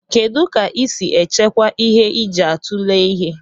Kedu ka isi echekwa ihe iji atule ihe?